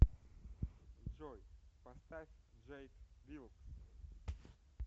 джой поставь джейк вилкс